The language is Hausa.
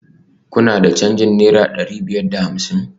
Kuna da canjin naira dari biyar da hamsin?